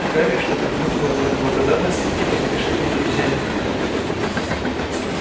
гарри что-то хмыкнул в знак благодарности и поспешил за друзьями